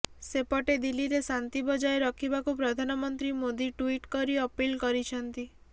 ସେପଟେ ଦିଲ୍ଲୀରେ ଶାନ୍ତି ବଜାୟ ରଖିବାକୁ ପ୍ରଧାନମନ୍ତ୍ରୀ ମୋଦି ଟୁଇଟ କରି ଅପିଲ୍ କରିଛନ୍ତି